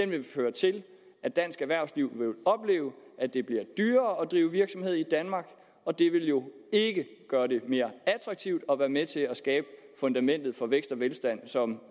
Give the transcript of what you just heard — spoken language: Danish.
vil føre til at dansk erhvervsliv vil opleve at det bliver dyrere at drive virksomhed i danmark og det vil jo ikke gøre det mere attraktivt og være med til at skabe fundamentet for vækst og velstand som